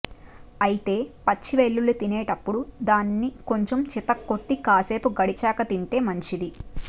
అయితే పచ్చి వెల్లుల్లి తినేటప్పుడు దానిని కొంచెం చితక్కొట్టి కాసేపు గడిచాక తింటే మంచిది